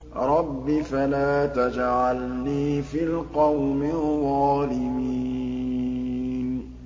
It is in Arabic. رَبِّ فَلَا تَجْعَلْنِي فِي الْقَوْمِ الظَّالِمِينَ